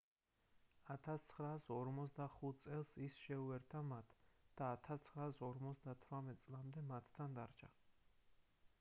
1945 წელს ის შეუერთდა მათ და 1958 წლამდე მათთან დარჩა